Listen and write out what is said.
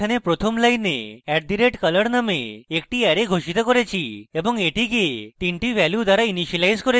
এখানে প্রথম line @color নামে একটি অ্যারে ঘোষিত করেছি এবং এটিকে তিনটি ভ্যালু দ্বারা ইনিসিয়েলাইজ করেছি